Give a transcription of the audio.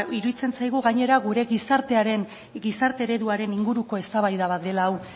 iruditzen zaigu gainera gure gizarte ereduaren inguruko eztabaida bat dela hau